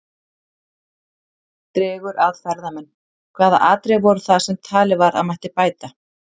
Dregur að ferðamenn Hvaða atriði voru það sem talið var að mætti bæta?